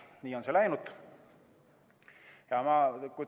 Nii on see läinud.